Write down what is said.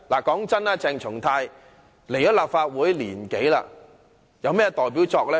坦白說，鄭松泰進入立法會1年多，他有甚麼"代表作"？